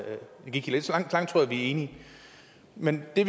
vi er enige men det